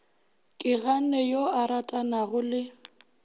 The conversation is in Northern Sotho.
keganne yo a ratanago le